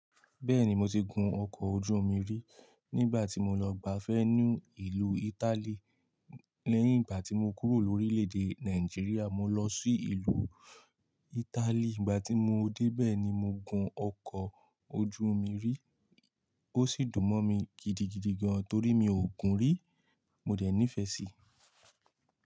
Bẹ́ẹ̀ni, mo ti gun ọkọ̀ ojú omi rí nígbà tí mo lọ gbafẹ́ nínú ìlú Italy lẹ́yìn ìgbà tí mo kúrò lórílẹ̀-èdè Nàìjíríà. Mo lọ sí ìlú Italy, ìgbà tí mo dé bẹ́ẹ̀ ni mo gun ọkọ̀ ojú omi rí ó sì dùn mọ́ mi gidigidi gan torí mi ò gun rí, mo dẹ̀ nífẹ̀ẹ́ sí i.